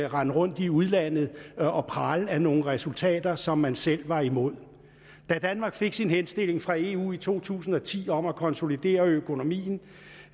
render rundt i udlandet og praler af nogle resultater som man selv var imod da danmark fik sin henstilling fra eu i to tusind og ti om at konsolidere økonomien